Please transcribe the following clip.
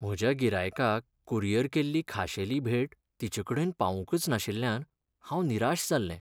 म्हज्या गिरायकाक कुरियर केल्ली खाशेली भेट तिचेकडेन पावूंकच नाशिल्ल्यान हांव निराश जाल्लें.